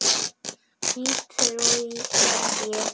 Því trúi ég vel.